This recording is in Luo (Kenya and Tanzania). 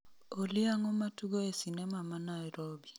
Olly ang'o matugo e sinema ma Nairobi